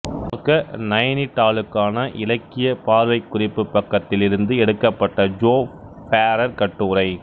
பார்க்க நைனிடாலுக்கான இலக்கிய பார்வைக்குறிப்பு பக்கத்திலிருந்து எடுக்கப்பட்ட ஜோப் ஃபேரர் கட்டுரை